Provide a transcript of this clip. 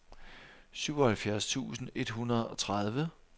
syvoghalvfjerds tusind et hundrede og tredive